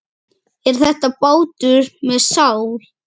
Er þetta bátur með sál?